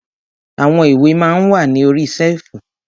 Àwọn ìwé ma ń wà ní orí ṣẹ́ẹ̀fù.